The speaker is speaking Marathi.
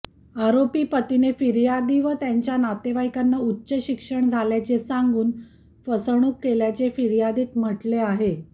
आरोपी पतीने फिर्यादी व त्यांच्या नातेवाईकांना उच्च शिक्षण झाल्याचे सांगून फसवणूक केल्याचे फिर्यादीत म्हटले आहे